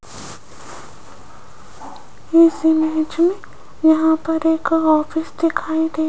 इस इमेज मे यहाँ पर एक ऑफिस दिखाई दे --